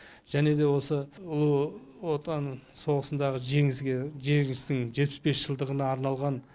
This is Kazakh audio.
және де осы ұлы отан соғысындағы жеңістің жетпіс бес жылдығына арналған